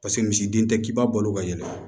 Paseke misiden tɛ k'i balo ka yɛlɛ